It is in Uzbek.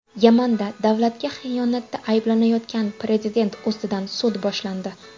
Yamanda davlatga xiyonatda ayblanayotgan prezident ustidan sud boshlandi.